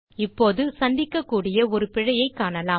இப்போது சந்திக்ககூடிய ஒரு பிழையைக் காணலாம்